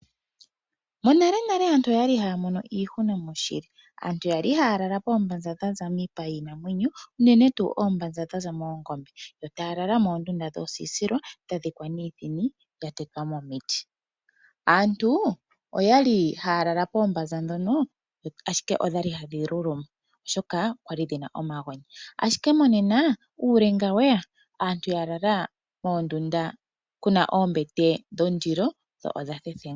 Monalenale aantu oyali haya mono iihuna moshili. Aantu ya li haya lala poombanza dhaza miipa yiinamwenyo uunene tuu oombanza dhaza moongombe yo taya lala moondunda dhoosilila dha dhikwa niithini ya tetwa momiti. Aantu oya li haya lala poombanza ndhono ashike odha li hadhi luluma oshoka okwali dhina omagonya, ashike monena uulenga weya aantu ya lala moondunda kuna oombete dhondilo dho odha thethenga nawa.